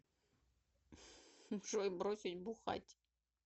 джой бросить бухать